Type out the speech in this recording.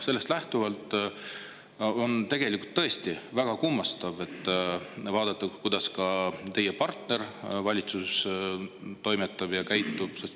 Sellest lähtuvalt on tegelikult tõesti väga kummastav vaadata, kuidas ka teie partner valitsuses toimetab ja käitub.